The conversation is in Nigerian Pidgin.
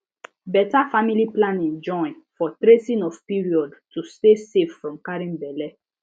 better family planning join for tracing of period to stay safe from carrying belle